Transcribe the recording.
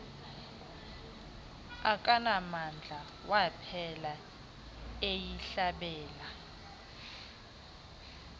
akanamdla waphela eyihlabela